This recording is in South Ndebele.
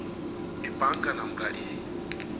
ibhanka namkha i